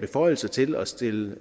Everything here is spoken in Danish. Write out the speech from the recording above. beføjelser til at stille